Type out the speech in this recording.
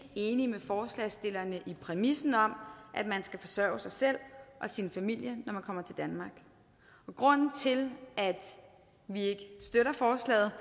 enige i forslagsstillerne i præmissen om at man skal forsørge sig selv og sin familie når man kommer til danmark og grunden til at vi ikke støtter forslaget